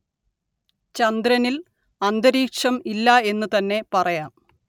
ചന്ദ്രനില്‍ അന്തരീക്ഷം ഇല്ല എന്നു തന്നെ പറയാം